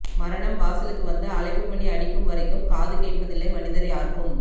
மரணம் வாசலுக்கு வந்து அழைப்புமணி அடிக்கும் வரைக்கும் காதுகேட்பதில்லை மனிதர் யார்க்கும்